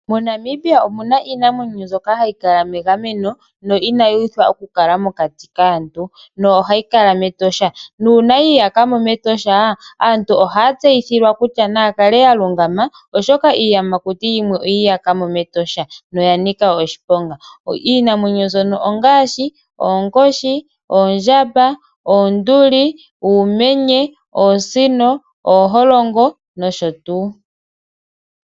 Monamibia omuna iinamwenyo mbyoka hayi kala megameno no inayi uthwa okukala mokati kaantu no ohayi kala metosha nuuna yi iyakamo metosha aantu ohaya tseyithilwa kutya na yakale ya lungama oshoka iiyamakuti yimwe oyi iyakamo metosha no ya nika oshiponga. Iinamwenyo mbyono ongaashi ,oonkoshi ,oondjamba, oonduli ,uumenye ,oosino, ooholongo nosho tuu.